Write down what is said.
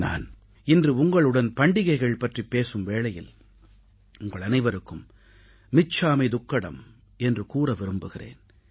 நான் இன்று உங்களுடன் பண்டிகைகள் பற்றிப் பேசும் வேளையில் உங்கள் அனைவருக்கும் மிச்சாமீ துக்கடம் என்று கூற விரும்புகிறேன்